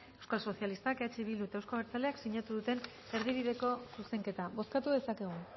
euskal sozialistak eh bildu eta euzko abertzaleak sinatu duten erdibideko zuzenketa bozkatu dezakegu